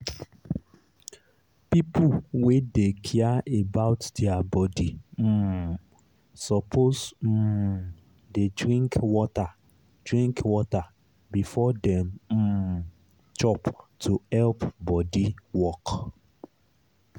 people wey dey care about their body um suppose um dey drink water drink water before dem um chop to help body work